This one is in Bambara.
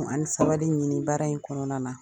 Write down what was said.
an bɛ saba de ɲini baara in kɔnɔna na.